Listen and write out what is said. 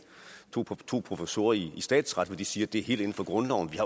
to professorer i statsret siger at det er helt inden for grundloven de